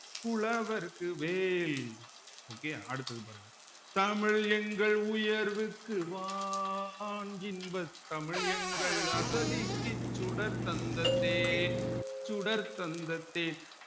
புலவர்க்கு வேல் okay அடுத்தது பாருங்க தமிழ் எங்கள் உயர்வுக்கு வான் இன்பத் தமிழ் எங்கள் அசதிக்கு சுடர் தந்த தேன் சுடர் தந்த தே